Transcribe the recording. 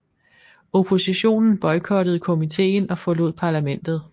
Oppositionen boykottede komiten og forlod parlamentet